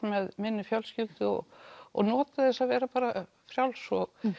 með minni fjölskyldu og og notið þess að vera bara frjáls og